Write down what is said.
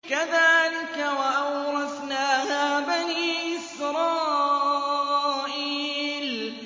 كَذَٰلِكَ وَأَوْرَثْنَاهَا بَنِي إِسْرَائِيلَ